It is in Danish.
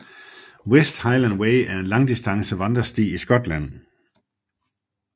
West Highland Way er en langdistance vandresti i Skotland